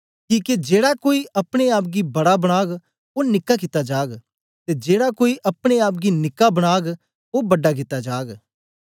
किके जेड़ा कोई अपने आप गी बड़ा बनाग ओ निक्का कित्ता जाग ते जेड़ा कोई अपने आप गी निक्का बनाग ओ बड़ा कित्ता जाग